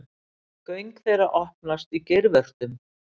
Göng þeirra opnast í geirvörtum.